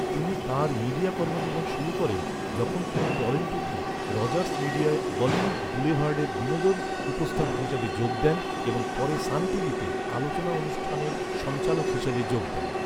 তিনি তাঁর মিডিয়া কর্মজীবন শুরু করেন, যখন তিনি টরন্টোতে রজার্স মিডিয়ায় বলিউড বুলেভার্ডের বিনোদন উপস্থাপক হিসেবে যোগ দেন এবং পরে সান টিভিতে আলোচনা অনুষ্ঠানের সঞ্চালক হিসেবে যোগ দেন।